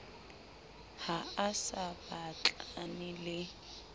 ha a sa batlane le